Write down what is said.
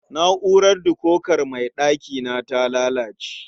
Na'urar dikokar mai ɗakina ta lalace.